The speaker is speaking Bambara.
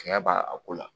Sɛgɛn b'a ko la